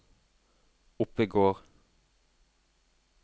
Oppegård